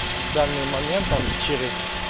в данный момент там через